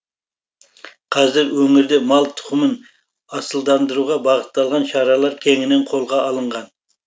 қазір өңірде мал тұқымын асылдандыруға бағытталған шаралар кеңінен қолға алынған